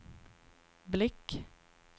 blick